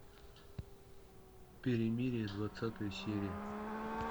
перемирие двадцатая серия